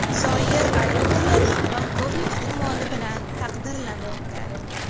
Zoir Aliqulov polkovnik unvoni bilan taqdirlanmoqda.